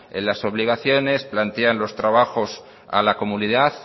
las obligaciones plantean los trabajos a la comunidad